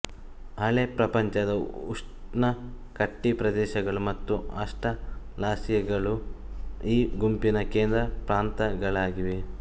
ಹಳೆ ಪ್ರಪಂಚದ ಉಷ್ಣ ಕಟಿಪ್ರದೇಶಗಳು ಮತ್ತುಆಸ್ಟ್ರಲಾಸಿಯಗಳು ಈ ಗುಂಪಿನ ಕೇಂದ್ರ ಪ್ರಾಂತಗಳಾಗಿವೆ